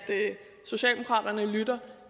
lytte